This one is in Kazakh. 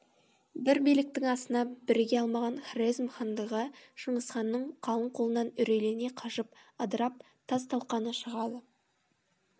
бір биліктің астына біріге алмаған хорезм хандығы шыңғысханның қалың қолынан үрейлене қашып ыдырап тас талқаны шығады